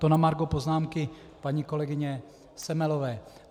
To na margo poznámky paní kolegyně Semelové.